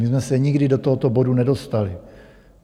My jsme se nikdy do tohoto bodu nedostali.